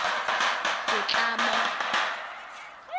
setlamo